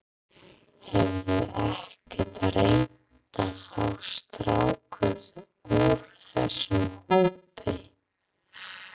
Hefurðu ekkert reynt að fá stráka úr þessum hópi?